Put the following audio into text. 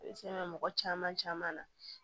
mɔgɔ caman caman na